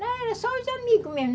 Não, era só os amigos mesmo.